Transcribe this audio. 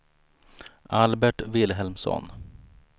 Albert Vilhelmsson